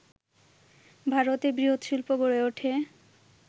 ভারতে বৃহৎ শিল্প গড়ে ওঠে